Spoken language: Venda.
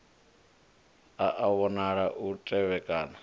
a a vhonala u tevhekana